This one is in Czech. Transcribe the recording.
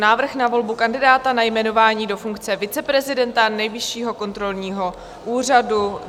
Návrh na volbu kandidáta na jmenování do funkce viceprezidenta Nejvyššího kontrolního úřadu